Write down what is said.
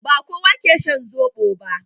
Ba kowa ke shan soɓo ba.